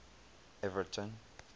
everton